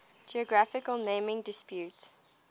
geographical naming disputes